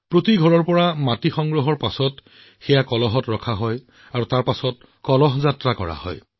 প্ৰতিটো ঘৰৰ পৰা মাটি সংগ্ৰহ কৰাৰ পিছত এটা কলহত ৰখা হৈছিল আৰু তাৰ পিছত অমৃত কলহ যাত্ৰা বাহিৰ কৰা হৈছিল